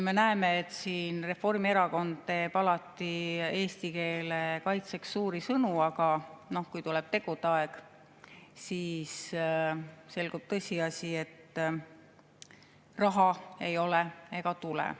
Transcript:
Me näeme, et Reformierakond teeb alati eesti keele kaitseks suuri sõnu, aga kui tuleb tegude aeg, siis selgub tõsiasi, et raha ei ole ega tule.